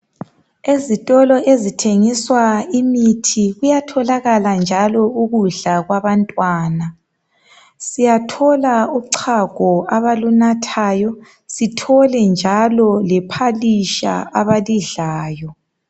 Ezitolo ezithengiswa imithi, kuyatholakala njalo ukudla kwabantwana. Siyathola uchago abalunathayo, sithole njalo le phalitsha abalidlayo.